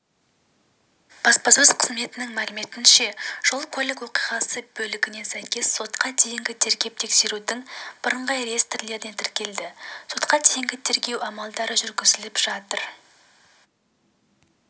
баспасөз қызметінің мәліметінше жол-көлік оқиғасы бөлігіне сәйкес сотқа дейінгі тергеп-тексерудің бірыңғай реестрінде тіркелді сотқа дейінгі тергеу амалдары жүргізіліп жатыр